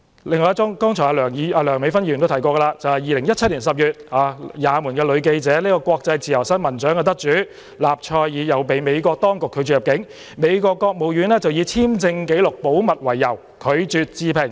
另一宗個案，梁美芬議員剛才也提到 ，2017 年10月，也門女記者、國際自由新聞獎得主納賽爾被美國當局拒絕入境，美國國務院以簽證紀錄保密為由，拒絕置評。